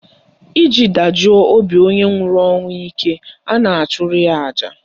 Iji dajuo obi onye nwụrụ ọnwụ ike, a na-achụrụ ya aja